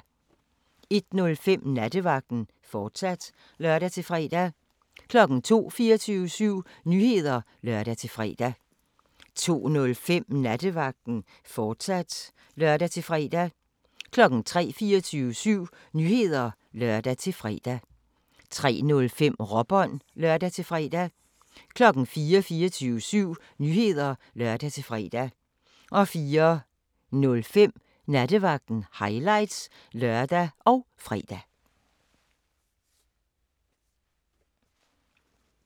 01:05: Nattevagten, fortsat (lør-fre) 02:00: 24syv Nyheder (lør-fre) 02:05: Nattevagten, fortsat (lør-fre) 03:00: 24syv Nyheder (lør-fre) 03:05: Råbånd (lør-fre) 04:00: 24syv Nyheder (lør-fre) 04:05: Nattevagten – highlights (lør og fre)